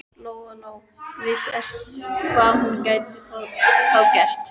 Lóa Lóa vissi ekki hvað hún gæti þá gert.